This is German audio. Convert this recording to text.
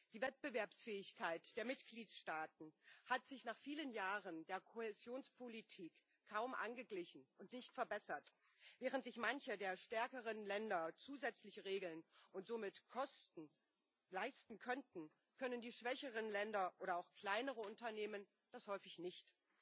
Die Wettbewerbsfähigkeit der Mitgliedstaaten hat sich nach vielen Jahren der Kohäsionspolitik kaum angeglichen und nicht verbessert. Während sich manche der stärkeren Länder zusätzliche Regeln und somit Kosten leisten könnten, können die schwächeren Länder oder auch kleinere Unternehmen das häufig nicht.